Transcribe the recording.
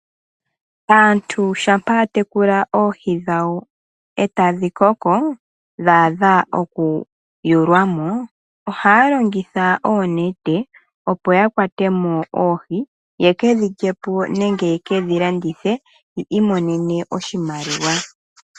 Aantu shampa yatekule oohi dhawo etadhi koko dha adha oku yulwamo ohaya longitha oonete opo yakwate mo oohi yekedhi lye po nenge yekedhi landithe yi imonene oshimaliwa.